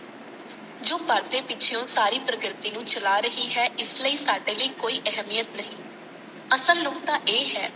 ਜੋ ਪਰਦੇ ਪਿੱਛਓਂ ਸਾਰੀ ਪ੍ਰਕ੍ਰੀਰਤੀ ਨੂੰ ਚਲਾ ਰਹੀ ਹੈ ਇਸ ਲਈ ਸਾਡੇ ਲਈ ਕੋਈ ਅਹਿਮੀਅਤ ਨਹੀਂ। ਅਸਲ ਨੁਕਤਾ ਇਹ ਹੈ